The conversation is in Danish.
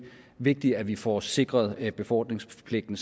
vigtigt at vi får sikret befordringspligten